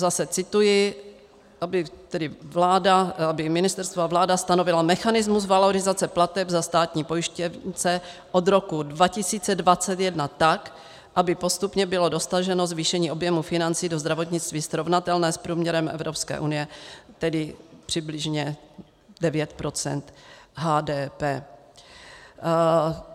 Zase cituji: "aby ministerstvo a vláda stanovila mechanismus valorizace plateb za státní pojištěnce od roku 2021 tak, aby postupně bylo dosaženo zvýšení objemu financí do zdravotnictví srovnatelného s průměrem EU, tedy přibližně 9 % HDP."